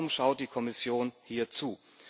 Warum schaut die Kommission hier zu?